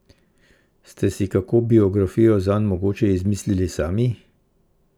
Ste si kako biografijo zanj mogoče izmislili sami?